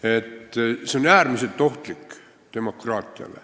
See on demokraatiale äärmiselt ohtlik.